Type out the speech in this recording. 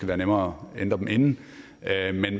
være nemmere at ændre dem inden